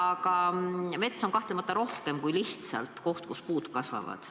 Mets on kahtlemata midagi rohkemat kui lihtsalt koht, kus puud kasvavad.